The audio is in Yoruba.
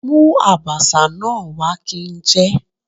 Mú Àbàṣà náà wá kí n jẹ.